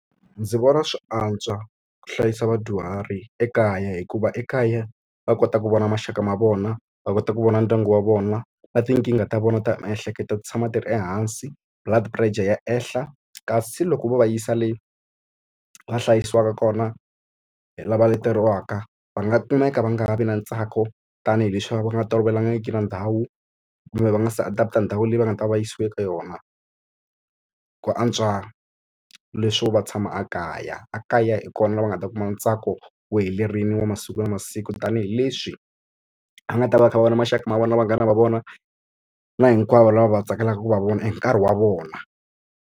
Ndzi vona swi antswa ku hlayisa vadyuhari ekaya hikuva ekaya va kota ku vona maxaka ma vona, va kota ku vona ndyangu wa vona, na tinkingha ta vona ta miehleketo ti tshama ti ri ehansi, blood pressure ya ehla. Kasi loko va va yisa le va hlayisiwaka kona hi lava leteriwekava va nga kumeka va nga ha vi na ntsako tanihileswi va nga tolovelangiki na ndhawu, kumbe va nga se adapt-a ndhawu leyi va nga ta va yisiwa eka yona. Ku antswa leswo va tshama ekaya. Ekaya hi kona laha va nga ta kuma ntsako wu helerile wa masiku na masiku tanihileswi va nga ta va va kha va vona maxaka ma vona vanghana va vona na hinkwavo lava va tsakelaka ku va vona hi nkarhi wa vona.